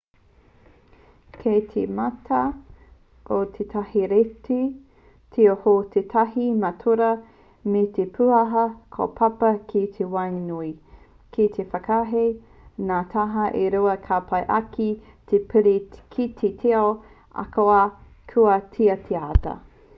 kei te mata o tētahi reti tio hou tētahi matarua me te pūaha kōpapa ki waenganui kei te whakaahei ngā taha e rua kia pai ake te piri ki te tiao ahakoa kua tītahatia